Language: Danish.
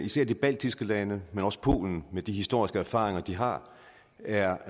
især de baltiske lande men også polen med de historiske erfaringer de har er